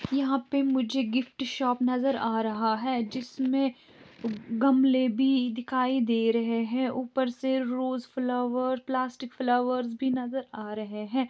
यहाँ पे मुझे गिफ्ट शॉप नजर आ रहा है जिसमे गमले भी दिखाई दे रहे है ऊपर से रोज फ्लाउअर प्लास्टिक फ्लाउअर भी नजर आ रहे है।